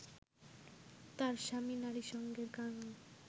তার স্বামী নারীসঙ্গের কাঙাল